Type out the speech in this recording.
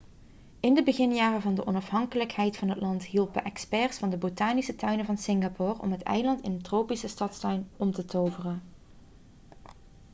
in de beginjaren van de onafhankelijkheid van het land hielpen experts van de botanische tuinen van singapore om het eiland in een tropische stadstuin om te toveren